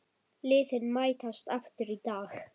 Liðin mætast aftur í dag.